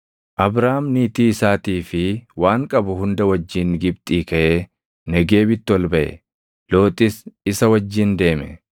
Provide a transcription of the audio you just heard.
Abraam niitii isaatii fi waan qabu hunda wajjin Gibxii kaʼee Negeebitti ol baʼe; Looxis isa wajjin deeme.